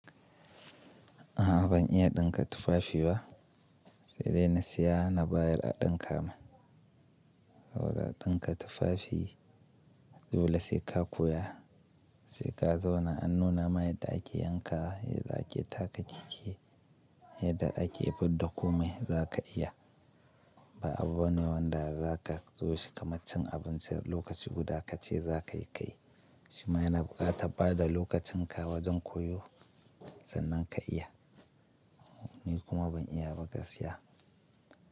A'a ban iya ɗinka tufafi ba sai dai na siya na bayar a ɗinka mun. Lawal ɗinka tufafi dole sai ka koya, sai ka zauna an nuna mai yadda ake yanka, yadda ake taka take, yadda ake fidda komai za ka iya. Ba abu bane wanda zaka so shi kama cin abinci a lokaci guda kace zaka yi ka yi. Shi ma yana buƙatar bada lokacin ka wajen koyo sannan ka iya. Ni kuma ban iya ba gaskiya.